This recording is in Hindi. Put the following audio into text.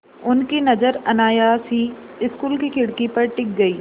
उनकी नज़र अनायास ही स्कूल की खिड़की पर टिक गई